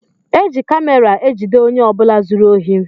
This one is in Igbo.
Eji kamera ejide ọnye ọbula zụrụ ohi.